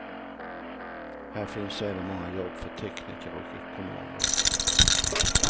Här finns även många jobb för tekniker och ekonomer.